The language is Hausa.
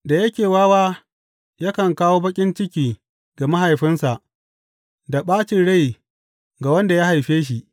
Da yake wawa yakan kawo baƙin ciki ga mahaifinsa da ɓacin rai ga wanda ya haife shi.